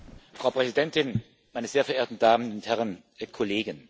Frau Präsidentin, meine sehr verehrten Damen und Herren Kollegen!